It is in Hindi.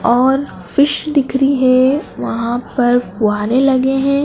और फिश दिख रही है वहां पर फ़ुआरे लगे हैं।